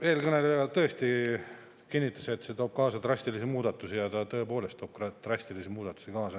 Eelkõneleja kinnitas, et see toob kaasa drastilisi muudatusi ja ta tõepoolest toob drastilisi muudatusi kaasa.